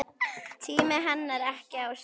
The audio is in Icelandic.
Tími henni ekki á sjóinn!